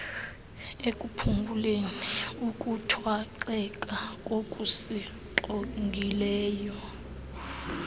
ekuphunguleni ukuthwaxeka kokusinqongileyo